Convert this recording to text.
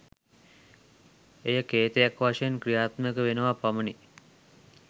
එය කේතයක් වශයෙන් ක්‍රියාත්මක වෙනවා පමණි.